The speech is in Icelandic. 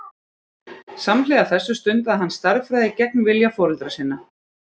Samhliða þessu stundaði hann stærðfræði gegn vilja foreldra sinna.